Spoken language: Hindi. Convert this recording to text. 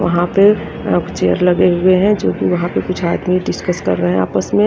वहां पे एक चेयर लगे हुए है जो कि वह पे कुछ आदमी डिस्कस कर रहे हैं आपस में।